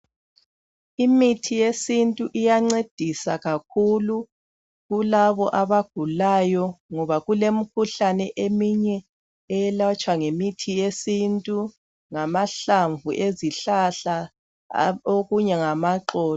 Imithi yesintu iyancedisa kakhulu kulabo abagulayo ngoba kulemikhuhlane eminye eyelatshwa ngemithi yesintu, lamahlamvu ezihlahla okunye ngamaxolo.